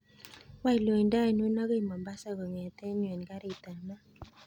Wany loindo ainon akoi mombasa kongeten yuu en garit ab maat